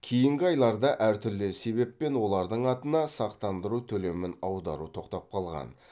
кейінгі айларда әртүрлі себеппен олардың атына сақтандыру төлемін аудару тоқтап қалған